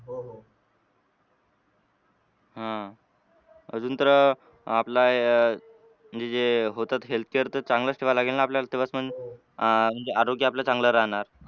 आह अजून तर अह आपला म्हणजे जे होतात healthcare तर चांगलंच ठेवावे लागेल ना आपल्याला तेव्हाच अह म्हणजे आरोग्य आपलं चांगलं राहणार.